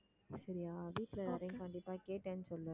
சரியா வீட்டுல எல்லாரையும் கண்டிப்பா கேட்டேன்னு சொல்லு